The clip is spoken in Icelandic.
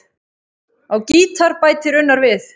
Á gítar bætir Unnar við.